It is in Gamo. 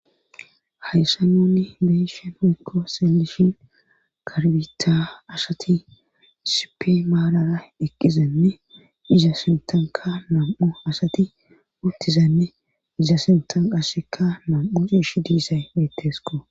Hayssa nuunni beeshe mikko seelishin karbita asati sipe maalara deqqizanne iza sintanka nam7o asati uttizanne iza sintan qasseka nam7u sish diisay mettesko